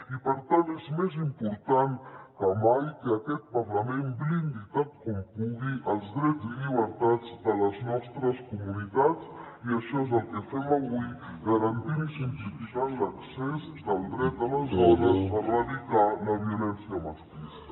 i per tant és més important que mai que aquest parlament blindi tant com pugui els drets i llibertats de les nostres comunitats i això és el que fem avui garantint i simplificant l’accés del dret a les dones a erradicar la violència masclista